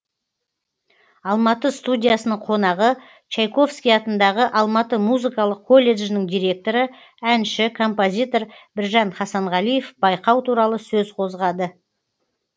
алматы студиясының қонағы чайковский атындағы алматы музыкалық колледжінің директоры әнші композитор біржан хасанғалиев байқау туралы сөз қозғады